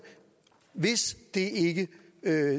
er hvis det ikke